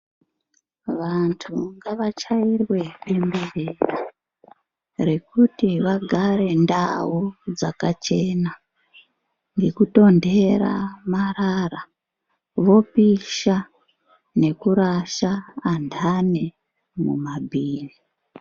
Vantu ngavachairwe bemberera rekuti vagare ndau dzakachena nekutondera marara vopisha nekurasha andani mumabhini.